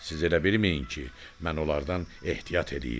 Siz elə bilməyin ki, mən onlardan ehtiyat eləyirdim.